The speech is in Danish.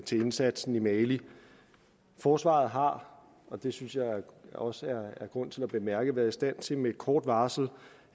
til indsatsen i mali forsvaret har og det synes jeg også at der er grund til at bemærke været i stand til med kort varsel